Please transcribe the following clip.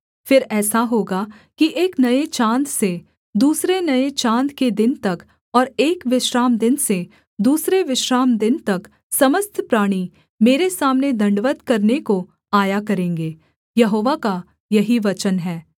फिर ऐसा होगा कि एक नये चाँद से दूसरे नये चाँद के दिन तक और एक विश्रामदिन से दूसरे विश्रामदिन तक समस्त प्राणी मेरे सामने दण्डवत् करने को आया करेंगे यहोवा का यही वचन है